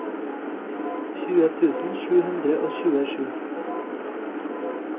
tjue tusen sju hundre og tjuesju